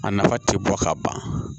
A nafa tɛ bɔ ka ban